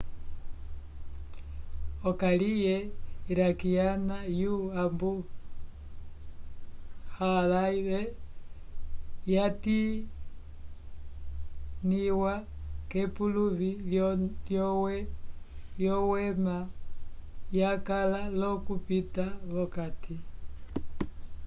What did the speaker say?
okayike iraquiana yo abu gharaib yatimĩwa k'epuluvi lyowema yakala l'okupita v'okati